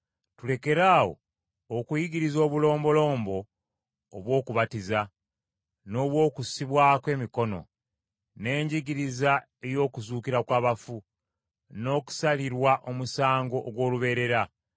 Tulekeraawo okuyigiriza obulombolombo obw’okubatizibwa, n’obw’okussibwako emikono, n’enjigiriza ey’okuzuukira kw’abafu, n’okusalirwa omusango ogw’olubeerera.